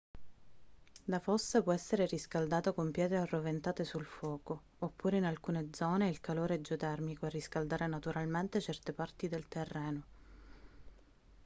la fossa può essere riscaldata con pietre arroventate sul fuoco oppure in alcune zone è il calore geotermico a riscaldare naturalmente certe parti del terreno